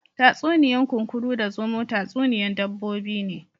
Tatsuniya'n Kunkuru da zomo tatsuniya'n dabbobi ne.